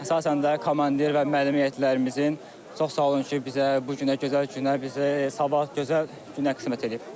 Əsasən də komandir və müəllim heyətlərimizin çox sağ olun ki, bizə bu günə gözəl günə, bizə sabah gözəl günə qismət eləyib.